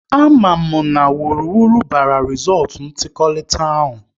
A ma mụ na wuruwuru bara rizọọtụ ntụliaka ahụ